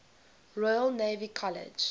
royal naval college